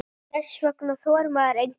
Þess vegna þorir maður engu.